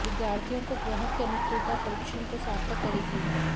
विद्यार्थियों को ग्रहों की अनुकूलता परिश्रम को सार्थक करेगी